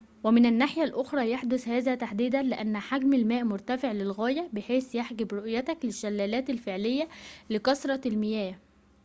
ومن الناحية الأخرى يحدث هذا تحديدًا لأن حجم الماء مرتفع للغاية بحيث يحجب رؤيتك للشلالات الفعلية لكثرة المياه